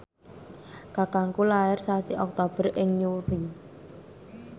kakangku lair sasi Oktober ing Newry